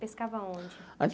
Pescava onde?